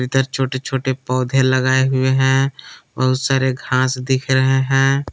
इधर छोटे छोटे पौधे लगाए हुए हैं बहुत सारे घास दिख रहे हैं।